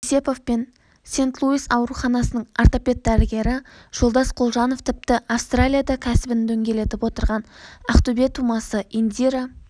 еңсепов пен сент-луис ауруханасының ортопед-дәрігері жолдас құлжанов тіпті австралияда кәсібін дөңгелетіп отырған ақтөбе тумасы индира